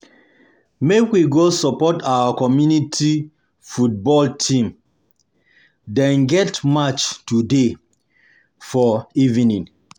Make we go support our community football team, dem get match today for evening.